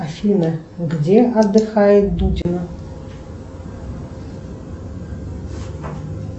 афина где отдыхает дудина